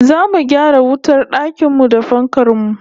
Zamu gyara wutar dakin mu da fankar mu